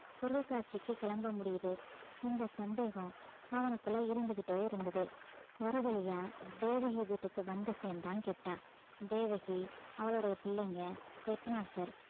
பொருட்காட்சிக்கு கிளம்ப முடியுது இந்த சந்தேகம் அவனுக்குள்ள இருந்துகிட்டே இருந்தது ஒரு வழியா தேவகி வீட்டுக்கு வந்து சேர்ந்தான் கிட்டா தேவகி அவளுடைய பிள்ளைங்க head master